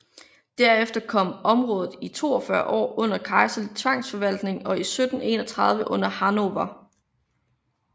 Derefter kom området i 42 år under kejserlig tvangsforvaltning og 1731 under Hannover